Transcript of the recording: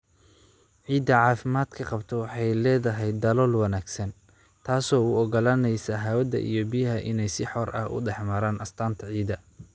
Ciidda caafimaadka qabta waxay leedahay dalool wanaagsan, taasoo u oggolaanaysa hawada iyo biyaha inay si xor ah u dhex maraan astaanta ciidda.